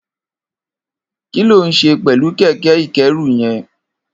Kiló n ṣé pẹ̀lú kẹkẹ ikẹ̀rú yèn?